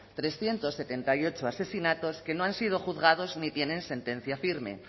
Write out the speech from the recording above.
trescientos setenta y ocho asesinatos que no han sido juzgados ni tienen sentencia firme